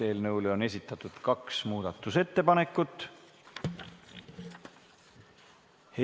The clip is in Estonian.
Eelnõule on esitatud kaks muudatusettepanekut.